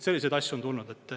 Selliseid asju on tulnud.